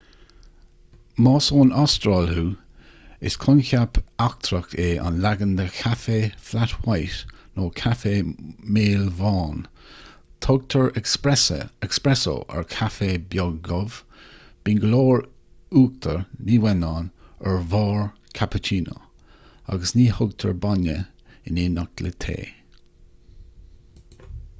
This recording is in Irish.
más ón astráil thú is coincheap eachtrach é an leagan de chaife 'flat white' nó 'caife maolbhán'. tugtar 'espresso' ar chaife beag dubh bíonn go leor uachtair ní uanán ar bharr cappuccino agus ní thugtar bainne in éineacht le tae